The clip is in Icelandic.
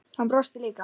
Hann brosti líka.